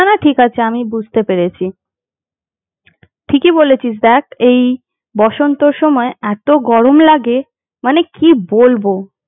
না না ঠিক আছে আমি বুঝতে পেরেছি ঠিকই বলেছিস দেখ এই বসন্তের সময় এতো গরম লাগে, মানে কি বলবো।